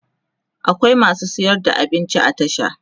akwai masu sayar da abinci a tasha